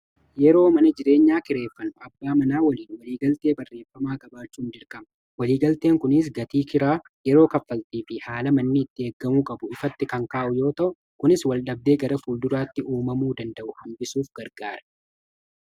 yeroo mana jireenya kireeffannu abbaa manaa waliin waliigaltee barreeffamaa qabaachuun dirqama. waliigalteen kunis gatii kiraa yeroo kaffaltii fi haala manni itti eegamuu qabu ifatti kan kaa'u yoo ta'u kunis wal dhabdee gara fuulduraatti uumamuu danda'u hambisuuf gargaara.